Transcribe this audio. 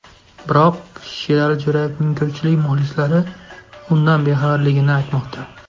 Biroq Sherali Jo‘rayevning ko‘pchilik muxlislari bundan bexabarligini aytmoqda.